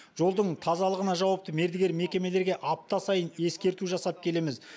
жолдың тазалығына жауапты мердігер мекемелерге апта сайын ескерту жасап келеміз